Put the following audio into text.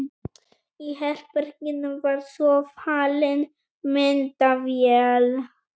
Í herberginu var svo falin myndavél.